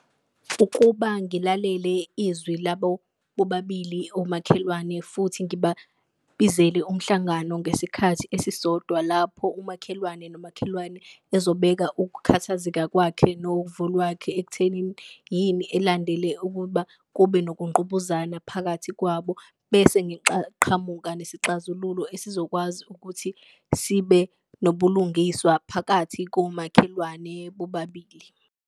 Ukuba ngilalele izwi labo bobabili omakhelwane futhi ngibabizele umhlangano ngesikhathi esisodwa, lapho umakhelwane nomakhelwane ezobeka ukukhathazeka kwakhe novo lwakhe. Ekuthenini yini elandele ukuba kube nokungqubuzana phakathi kwabo, bese qhamuka nesixazululo esizokwazi ukuthi sibe nobulungiswa phakathi komakhelwane bobabili.